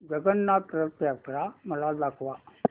जगन्नाथ रथ यात्रा मला दाखवा